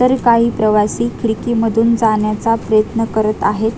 तर काही प्रवासी खिडकीमधून जाण्याचा प्रयत्न करत आहेत.